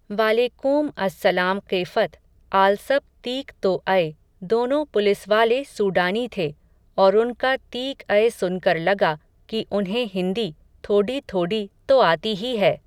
वालेकूम असल्लामक़ेफ़त, आलसब तीक तो अय, दोनों पुलिसवाले सूडानी थे, और उनका तीक अय सुनकर लगा, कि उन्हें हिन्दी, थोडी थोडी तो आती ही है